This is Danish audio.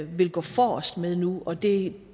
vil gå forrest med nu og det